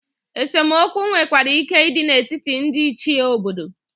Esemokwu nwekwara ike ịdị n'etiti ndị Ichie obodo.